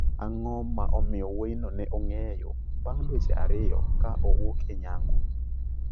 Ang'o ma omiyo wuoyino ne ong'eyo bang dweche ariyo ka owuok e nyango?